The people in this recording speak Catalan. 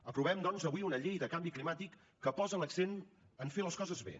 aprovem doncs avui una llei de canvi climàtic que posa l’accent en fer les coses bé